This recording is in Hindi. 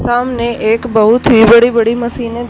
सामने एक बहुत ही बड़ी बड़ी मशीने --